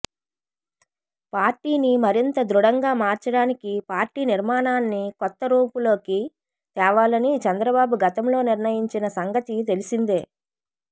పార్టీని మరింత దృఢంగా మార్చడానికి పార్టీ నిర్మాణాన్ని కొత్తరూపులోకి తేవాలని చంద్రబాబు గతంలో నిర్ణయించిన సంగతి తెలిసిందే